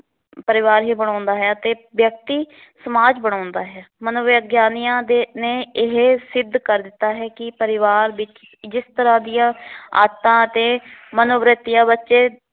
ਪਰਿਵਾਰ ਹੀ ਬਣਾਉਂਦਾ ਹੈ ਅਤੇ ਵਿਅਕਤੀ ਸਮਾਜ ਬਣਾਉਂਦਾ ਹੈ ਮਨੋਵਿਗਆਨੀਆਂ ਦੇ ਨੇ ਇਹ ਸਿੱਧ ਕਰ ਦਿੱਤਾ ਹੈ ਕਿ ਪਰਿਵਾਰ ਵਿੱਚ ਜਿਸ ਤਰਾਂ ਦੀਆਂ ਆਦਤਾਂ ਅਤੇ ਮਨੋਵਰਤੀਆਂ ਬੱਚੇ